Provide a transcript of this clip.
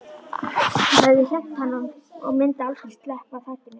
Það hafði hremmt hann og myndi aldrei sleppa takinu.